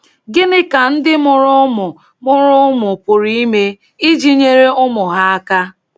Gịnị ka ndị mụrụ ụmụ mụrụ ụmụ pụrụ ime iji nyere ụmụ ha aka?